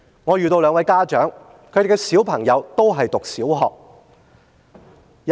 我遇見兩位家長，他們的小朋友都正在就讀小學。